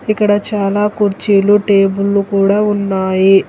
ఇక్కడ చాలా కుర్చీలు టేబుల్లు కూడా ఉన్నాయి.